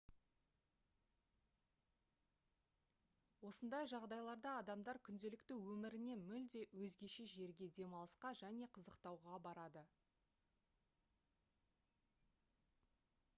осындай жағдайларда адамдар күнделікті өмірінен мүлде өзгеше жерге демалысқа және қызықтауға барады